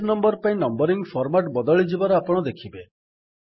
page ପାଇଁ numbering format ବଦଳିଯିବାର ଆପଣ ଦେଖିବେ